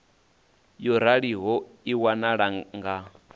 yo raliho i waniwa nga